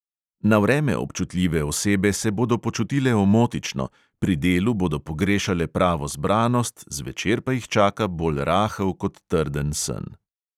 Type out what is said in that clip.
Na vreme občutljive osebe se bodo počutile omotično, pri delu bodo pogrešale pravo zbranost, zvečer pa jih čaka bolj rahel kot trden sen.